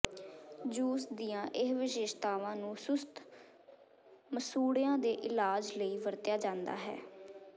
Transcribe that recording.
juice ਦੀਆਂ ਇਹ ਵਿਸ਼ੇਸ਼ਤਾਵਾਂ ਨੂੰ ਸੁਸਤ ਮਸੂੜਿਆਂ ਦੇ ਇਲਾਜ ਲਈ ਵਰਤਿਆ ਜਾਂਦਾ ਹੈ